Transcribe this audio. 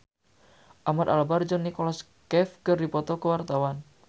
Ahmad Albar jeung Nicholas Cafe keur dipoto ku wartawan